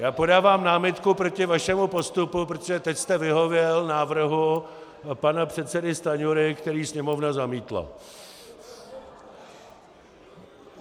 Já podávám námitku proti vašemu postupu, protože teď jste vyhověl návrhu pana předsedy Stanjury, který Sněmovna zamítla.